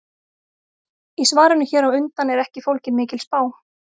Í svarinu hér á undan er ekki fólgin mikil spá.